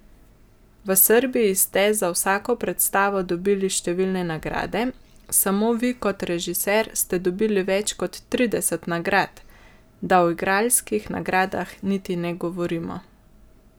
V Srbiji ste za vsako predstavo dobili številne nagrade, samo vi kot režiser ste dobili več kot trideset nagrad, da o igralskih nagradah niti ne govorimo.